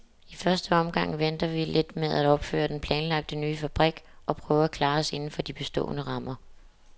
I første omgang venter vi lidt med at opføre den planlagte nye fabrik og prøver at klare os indenfor de bestående rammer.